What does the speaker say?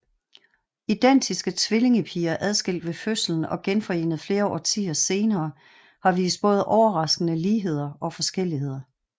Identiske tvillingepiger adskilt ved fødslen og genforenet flere årtier senere har vist både overraskende ligheder og forskelligheder